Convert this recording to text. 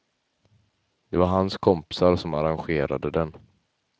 Det var hans kompisar som arrangerade den.